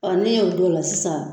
Ɔ n'i y'o don o la sisan.